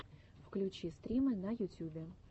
включи стримы на ютюбе